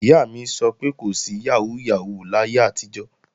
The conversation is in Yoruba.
Ìyá mi sọ pé kò sí yàhóó yàhóó láyé àtijọ́